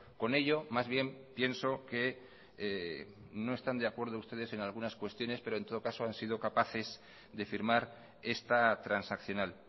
con ello más bien pienso que no están de acuerdo ustedes en algunas cuestiones pero en todo caso han sido capaces de firmar esta transaccional